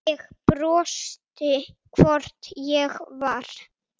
Ég brosti, hvort ég var!